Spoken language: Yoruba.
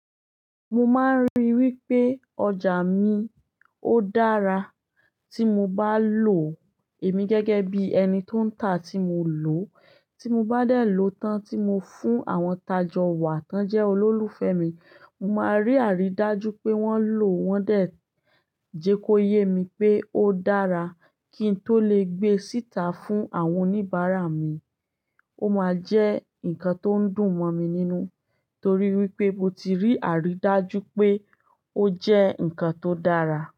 Mo máa ń rí i wípé ọjà mi ó dára tí mo bá lò èmi gẹ́gẹ́ bí ẹni tó ń tà tí mo lò. Tí mo bá dẹ̀ lòó tán tí mo fún àwọn tajọ wa tán jẹ́ olólùfẹ́ mi, mo máa rí àrídájú pé wọ́n lò, wọ́n dẹ̀ jẹ kó yé mi pé ó dára kí n tó lè gbé síta fún àwọn oníbàárà mi. Ó máa jẹ́ ǹkan tó ń dùn mọ́ mi nínú torí wípé mo ti rí àrídájú pé ó jẹ́ ǹkan tó dára.